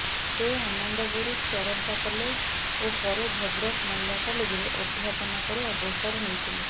ସେ ଆନନ୍ଦପୁର ଚରମ୍ପା କଲେଜ ଓ ପରେ ଭଦ୍ରକ ମହିଳା କଲେଜରେ ଅଧ୍ୟାପନା ପରେ ଅବସର ନେଇଥିଲେ